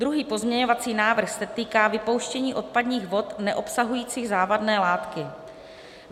Druhý pozměňovací návrh se týká vypouštění odpadních vod neobsahujících závadné látky.